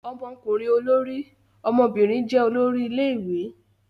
Ọmọkùnrin olórí, ọmọbìnrin jẹ́ olórí ilé-ìwé.